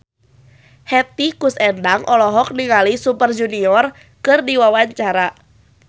Hetty Koes Endang olohok ningali Super Junior keur diwawancara